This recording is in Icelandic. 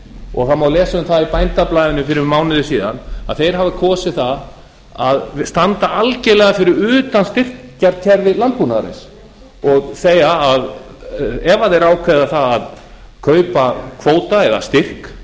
og það má lesa um það í bændablaðinu fyrir mánuði síðan að þeir hafa kosið það að standa algerlega fyrir utan styrkjakerfi landbúnaðarins og segja að ef þeir ákveða að kaupa kvóta eða styrk